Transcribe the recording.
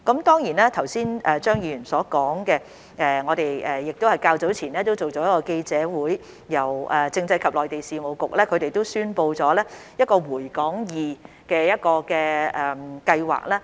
關於張議員剛才的建議，我們較早前已舉行記者會，由政制及內地事務局宣布一項回港易計劃。